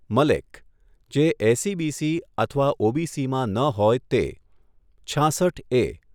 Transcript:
મલેક, જે એસઇબીસી અથવા ઓબીસીમાં ન હોય તે. છાંસઠ એ.